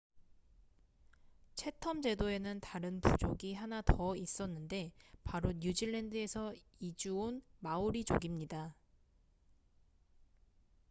채텀 제도에는 다른 부족이 하나 더 있었는데 바로 뉴질랜드에서 이주 온 마오리 족입니다